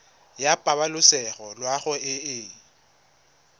ya pabalesego loago e e